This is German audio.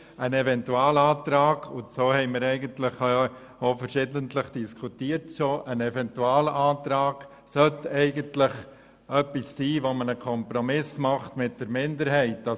Eigentlich sollte ein Eventualantrag, wie wir schon verschiedentlich diskutiert haben, dazu dienen, einen Kompromiss mit der Minderheit zu finden.